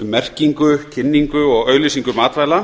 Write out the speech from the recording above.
um merkingu kynningu og auglýsingu matvæla